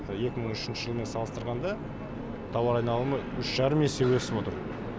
екі мың үшінші жылмен салыстырғанда тауар айналымы үш жарым есе өсіп отыр